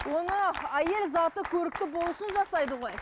оны әйел заты көрікті болу үшін жасайды ғой